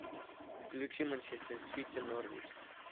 включи манчестер сити норвич